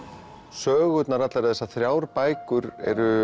sögurnar allar þessar þrjár bækur